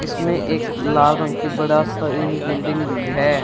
इसमें एक लाल रंग की बड़ा सा ये बिल्डिंग भी है।